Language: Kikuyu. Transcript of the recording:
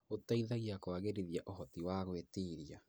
Gũteithagia kũagĩrithia ũhoti wa gwĩtiria.